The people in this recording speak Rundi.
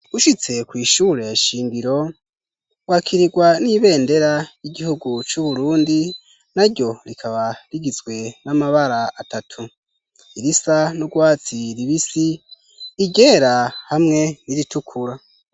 Ushitse kw'ishure shingiro wakirirwa n'ibendera y'igihugu c'Uburundi na ryo rikaba rigizwe n'amabara atatu : irisa n'urwatsi rubisi, iryera hamwe n'iritukura.